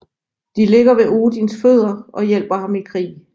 De ligger ved Odins fødder og hjælper ham i krig